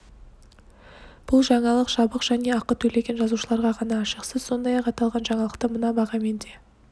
бұл жаңалық жабық және ақы төлеген жазылушыларға ғана ашық сіз сондай-ақ аталған жаңалықты мына бағамен де